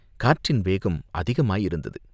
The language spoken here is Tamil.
காற்றின் வேகம் அதிகமாயிருந்தது.